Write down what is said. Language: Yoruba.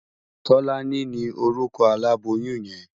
Tolani ni órúkò àlábóyùn yèn